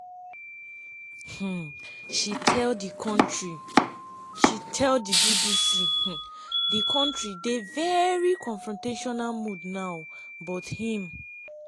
um she tell di um bbc “di kontri dey veri confrontational mood now but im